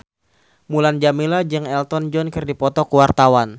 Mulan Jameela jeung Elton John keur dipoto ku wartawan